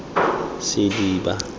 sediba